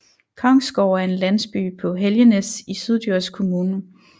Kongsgårde er en landsby på Helgenæs i Syddjurs Kommune